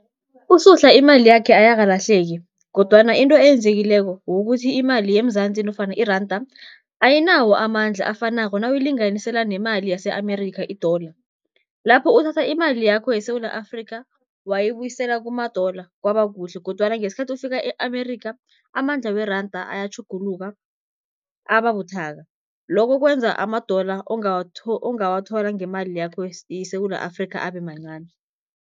USuhla imali yakhe ayakalahleki kodwana into eyenzekileko, ukuthi imali yeMzansi nofana iranda ayinawo amandla afanako nawuyilinganisela nemali yase-Amerikha i-dollar. Lapho uthatha imali yakho yeSewula Afrikha, wayibuyisela kuma-dollar kwaba kuhle kodwana ngesikhathi ofika e-Amerikha, amandla weranda ayatjhuguluka ababuthaka. Loko kwenza ama-dollar ongawathola ngemali yakho yeSewula Afrikha, abe mancani.